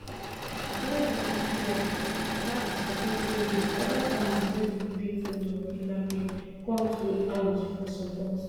wen word spread about di successful release oda families wey be victims of kidnapping come to am for support